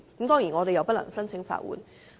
當然，我們不能夠申請法援。